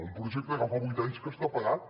un projecte que fa vuit anys que està parat